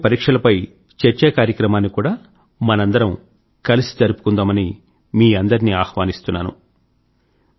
రాబోయే పరీక్షలపై చర్చా కార్యక్రమాన్ని కూడా మనందరము కలిసి జరుపుకుందామని మీ అందరినీ ఆహ్వానిస్తున్నాను